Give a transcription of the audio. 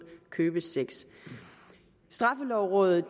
købesex straffelovrådet